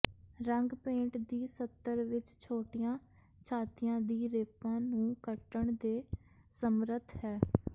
ਰੰਗ ਪੇਂਟ ਦੀ ਸਤੱਰ ਵਿੱਚ ਛੋਟੀਆਂ ਛਾਤੀਆਂ ਦੀ ਰੇਪਾਂ ਨੂੰ ਕੱਟਣ ਦੇ ਸਮਰੱਥ ਹੈ